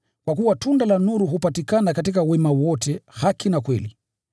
(kwa kuwa tunda la nuru hupatikana katika wema wote, haki na kweli),